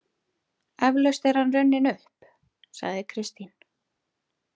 Eflaust er hann runninn upp, sagði Kristín.